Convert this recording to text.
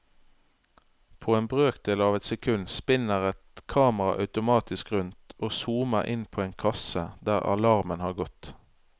På en brøkdel av et sekund spinner et kamera automatisk rundt og zoomer inn på en kasse der alarmen har gått.